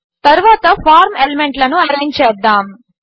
తరువాత ఫార్మ్ ఎలిమెంట్లను అరేంజ్ చేద్దాము